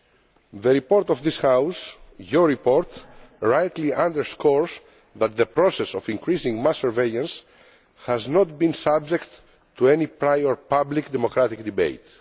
The report of this House your report rightly underscores that the process of increasing mass surveillance has not been subject to any prior public, democratic debate.